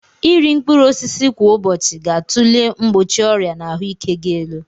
Iri mkpụrụ osisi kwa ụbọchị ga-atulie mgbochi ọrịa na ahụike gị elu.